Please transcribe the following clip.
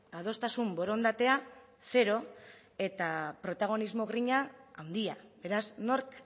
adostasun borondatea zero eta protagonismo grina handia beraz nork